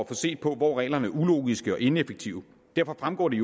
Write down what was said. får set på hvor reglerne er ulogiske og ineffektive derfor fremgår det